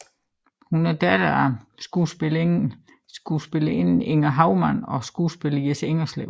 Hun er datter af skuespillerinden Inger Hovman og skuespilleren Jess Ingerslev